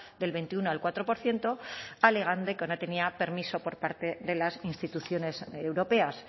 del veintiuno al cuatro por ciento alegando que no tenía permiso por parte de las instituciones europeas